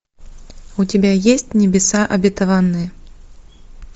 у тебя есть небеса обетованные